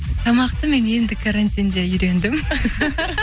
тамақты мен енді карантинде үйрендім